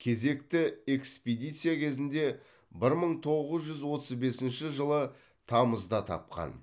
кезекті экспедиция кезінде бір мың тоғыз жүз отыз бесінші жылы тамызда тапқан